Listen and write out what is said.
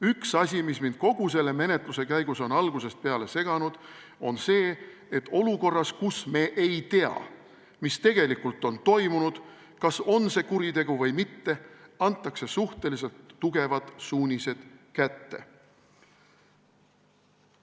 Üks asi, mis mind kogu selle menetluse käigus on algusest peale seganud, on see, et olukorras, kus me ei tea, mis tegelikult on toimunud, kas on see kuritegu või mitte, antakse suhteliselt tugevad suunised kätte.